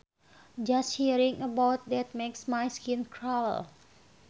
Just hearing about that makes my skin crawl